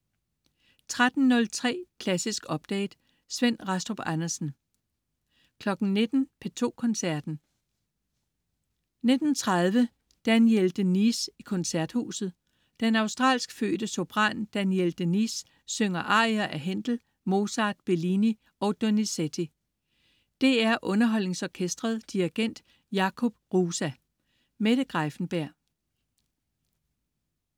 13.03 Klassisk update. Svend Rastrup Andersen 19.00 P2 Koncerten. 19.30: Danielle de Niese i Koncerthuset. Den australsk fødte sopran Danielle de Niese, synger arier af Händel, Mozart, Bellini og Donizetti. DR UnderholdningsOrkestret. Dirigent: Jakub Hrusa. Mette Greiffenberg